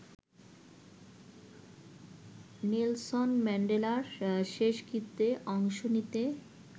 Nelson ম্যান্ডেলার শেষকৃত্যে অংশ নিতে